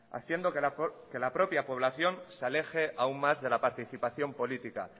haciendo que la propia población se aleje aún más de la participación política